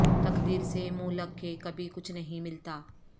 تقدیر سے منھ لگ کے کبھی کچھ نہیں ملتا